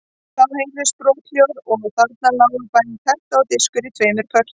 Það heyrðist brothljóð og þarna lágu bæði terta og diskur í tveimur pörtum.